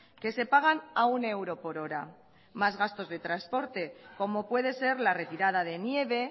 que se pagan a un euro por hora más gastos de transporte como puede ser la retirada de nieve